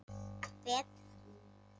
Betra líf.